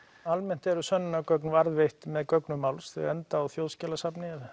almennt eru sönnunargögn varðveitt með gögnum máls þau enda á Þjóðskjalasafni